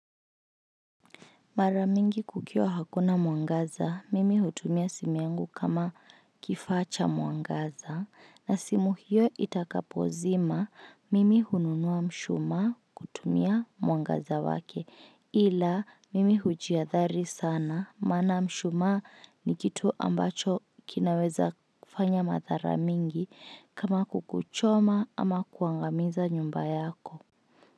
Maramingi kukiwa hakuna mwangaza, mimi hutumia simu yangu kama kifaa cha mwangaza, na simu hiyo itakapo zima, mimi hununua mshuma kutumia mwangaza wake, ila mimi hujiadhari sana, maana mshuma ni kitu ambacho kinaweza kufanya mathara mingi kama kukuchoma ama kuangamiza nyumba yako.